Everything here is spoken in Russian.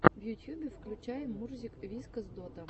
в ютьюбе включай мурзик вискас дота